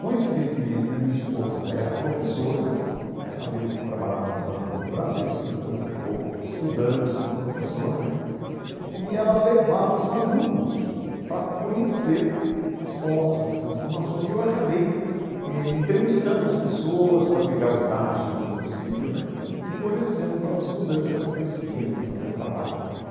Coincidentemente, a minha esposa era professora né, essa mesma que trabalhava no banco do Bradesco, depois acabou estudando, sendo professora né, e ela levava os alunos para conhecer as fotos, as transformações, e eu acabei eh entrevistando as pessoas para pegar os dados sobre o município né e fornecendo para os estudantes fazer pesquisa, fazer trabalho.